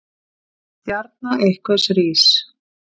Stjarna einhvers rís